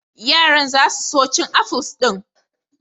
Yaran za su so cin afuls din.